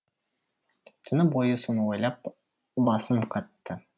түні бойы соны ойлап басым қатты